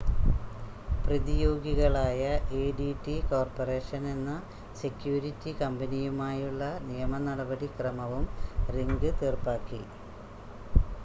പ്രതിയോഗികളായ ADT corporation എന്ന security കമ്പനിയുമായുള്ള നിയമ നടപടിക്രമവും റിംഗ് തീർപ്പാക്കി